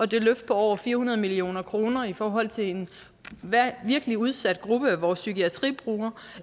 det løft på over fire hundrede million kroner i forhold til en virkelig udsat gruppe af vores psykiatribrugerne